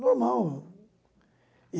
Normal.